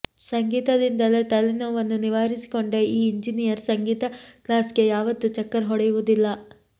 ಸಂಗೀತದಿಂದಲೇ ತಲೆನೋವನ್ನು ನಿವಾರಿಸಿಕೊಂಡ ಈ ಎಂಜಿನಿಯರ್ ಸಂಗೀತ ಕ್ಲಾಸ್ಗೆ ಯಾವತ್ತೂ ಚಕ್ಕರ್ ಹೊಡೆಯುವುದಿಲ್ಲ